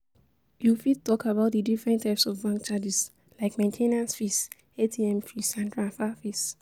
You fit talk about di different types of bank charges, like main ten ance fees, ATM fees, and transfer fees.